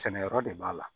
Sɛnɛyɔrɔ de b'a la